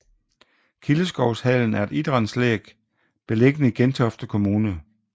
Kildeskovshallen er et idrætsanlæg beliggende i Gentofte Kommune